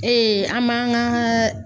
an m'an ka